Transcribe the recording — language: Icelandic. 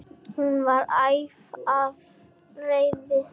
Hún var æf af reiði.